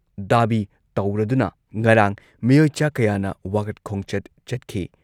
Dhabi ꯇꯧꯔꯗꯨꯅ ꯉꯔꯥꯡ ꯃꯤꯑꯣꯏ ꯆꯥ ꯀꯌꯥꯅ ꯋꯥꯀꯠ ꯈꯣꯡꯆꯠ ꯆꯠꯈꯤ ꯫